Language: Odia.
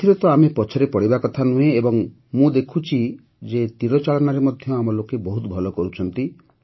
ଏଥିରେ ତ ଆମେ ପଛରେ ପଡ଼ିବା କଥା ନୁହଁ ଏବଂ ମୁଁ ଦେଖୁଛି ଯେ ତୀରଚାଳନାରେ ଆମ ଲୋକେ ବହୁତ ଭଲ କରୁଛନ୍ତି